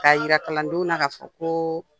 K'a yira kalandenw na ka fɔ ko